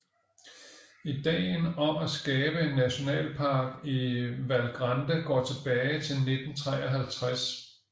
Idéen om at skabe en nationalpark i Val Grande går tilbage til 1953